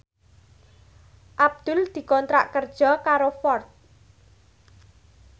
Abdul dikontrak kerja karo Ford